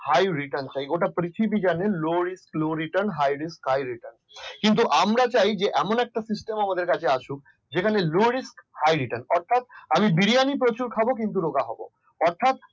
high return হয় গোটা পৃথিবী জানে high risk high return low risk low return কিন্তু আমরা চাই এমন একটা system আমাদের কাছে আসুক যেখানে low risk high return অর্থাৎ আমি বিরিয়ানি প্রচুর খাব। কিন্তু রোগা হব অর্থাৎ